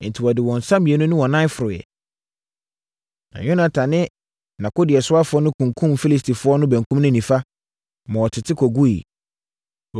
Enti, wɔde wɔn nsa mmienu ne wɔn nan foroeɛ, na Yonatan ne nʼakodeɛsoafoɔ no kunkumm Filistifoɔ no benkum ne nifa, ma wɔtete kɔguiɛ.